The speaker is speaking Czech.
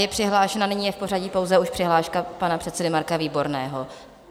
Je přihlášena - nyní je v pořadí pouze už přihláška pana předsedy Marka Výborného.